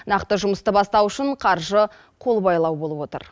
нақты жұмысты бастау үшін қаржы қолбайлау болып отыр